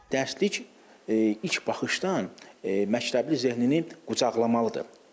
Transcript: Dərslik ilk baxışdan məktəbli zehnini qucaqlamalıdır.